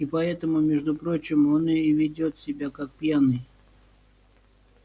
и поэтому между прочим он и ведёт себя как пьяный